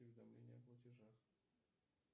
уведомления о платежах